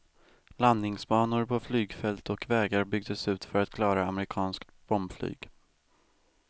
Landningsbanor på flygfält och vägar byggdes ut för att klara amerikanskt bombflyg.